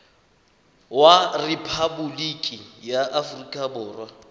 wa rephaboliki ya aforika borwa